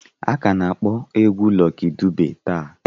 A ka na-akpọ egwu Lọki Dube taa.